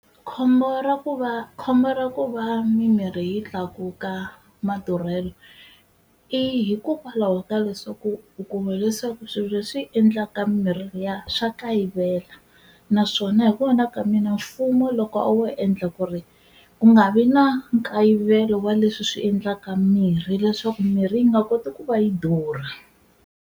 Khombo ra ku va khombo ra ku va mimirhi yi tlakuka madurhelo i hikokwalaho ka leswaku u kuma leswaku swilo leswi endlaka mirhi liya swa kayivela, naswona hi vona ka mina mfumo loko a wo endla ku ri ku nga vi na nkayivelo wa leswi swi endlaka mirhi leswaku mirhi yi nga koti ku va yi durha.